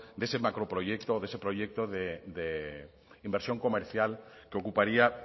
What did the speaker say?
de ese macro proyecto de ese proyecto de inversión comercial que ocuparía